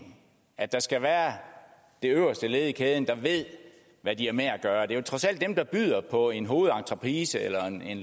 at det skal være det øverste led i kæden der ved hvad de har med at gøre det er trods alt dem der byder på en hovedentreprise eller